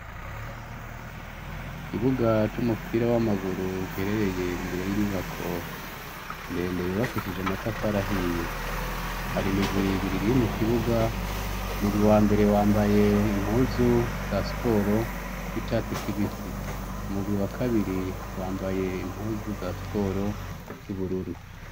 Ikibuga c'umupira w'amaguru giherereye imbere y'inyubako ndende yubakishije amatafari ahiye , hari imigwi ibiriri mu kibuga, umugwi wa mbere wambaye impuzu za siporo w'icatsi kibisi, umugwi wa kabiri wambaye impuzu za siporo z'ubururu.